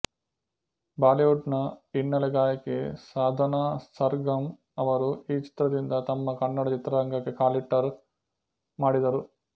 Bollywood ನ ಹಿನ್ನೆಲೆ ಗಾಯಕಿ ಸಾಧನಾ ಸರ್ಗಮ್ ಅವರು ಈ ಚಿತ್ರದಿಂದ ತಮ್ಮ ಕನ್ನಡ ಚಿತ್ರರಂಗಕ್ಕೆ ಕಾಲಿಟ್ಟರು ಮಾಡಿದರು